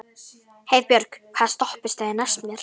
Heiðbjörg, hvaða stoppistöð er næst mér?